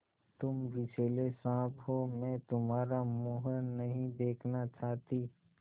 तुम विषैले साँप हो मैं तुम्हारा मुँह नहीं देखना चाहती